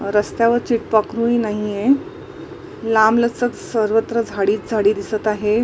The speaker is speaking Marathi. रस्त्यावर चिटपाकरूही नाहीये लांब लचक सर्वत्र झाडीच झाडी दिसत आहे.